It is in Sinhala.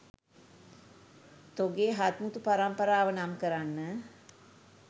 තොගේ හත්මුතු පරම්පරාව නම් කරන්න?